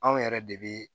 Anw yɛrɛ de bɛ